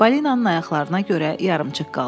Balinanın ayaqlarına görə yarımçıq qaldı.